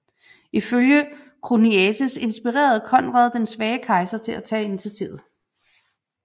Ifølge Choniates inspirerede Konrad den svage kejser til at tage initiativet